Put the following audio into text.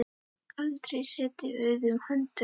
Aldrei setið auðum höndum.